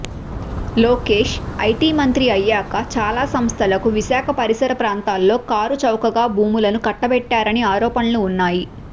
లోకేష్ ఐటిమంత్రి అయ్యాక చాలా సంస్థలకు విశాఖ పరిసరప్రాంతాల్లో కారుచౌకగా భూములు కట్టబెట్టారని ఆరోఫణలు వున్నాయి